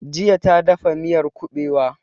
Jiya ta dafa miyar kuɓewa